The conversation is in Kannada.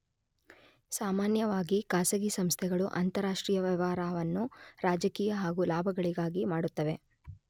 ಸಾಮಾನ್ಯವಾಗಿ ಖಾಸಗಿ ಸಂಸ್ಥೆಗಳು ಅಂತರಾಷ್ಟ್ರೀಯ ವ್ಯವಹಾರವನ್ನು ರಾಜಕೀಯ ಹಾಗು ಲಾಭಗಳಿಗಾಗಿ ಮಾಡುತ್ತವೆ.